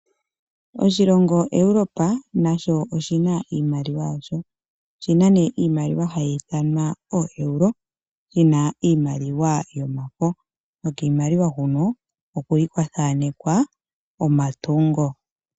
Iilonga yaEuropa nayo oyina iimaliwa . Otiuna iimaliwa hayi ithanwa ooEuros iimaliwa yomafo. Nokiimaliwa huno oku li kwathanekwa omatungo.